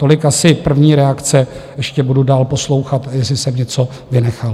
Tolik asi první reakce - ještě budu dál poslouchat, jestli jsem něco vynechal.